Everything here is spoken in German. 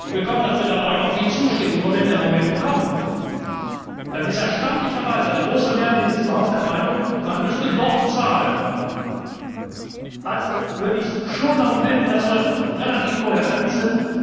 Ich bekomme dafür auch immer viel Zustimmung, nur wenn dann der Moment kommt, ist erstaunlicherweise eine große Mehrheit in diesem Haus der Meinung, man müsse doch zahlen. Also würde ich schon darum bitten, dass wir relativ kohärent sind.